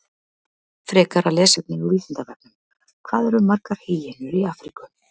Frekara lesefni á Vísindavefnum: Hvað eru margar hýenur í Afríku?